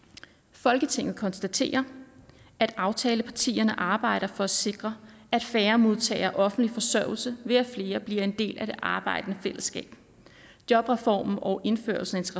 folketinget konstaterer at aftalepartierne arbejder for at sikre at færre modtager offentlig forsørgelse ved at flere bliver en del af det arbejdende fællesskab jobreformen og indførelsen